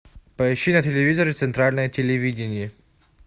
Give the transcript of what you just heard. поищи на телевизоре центральное телевидение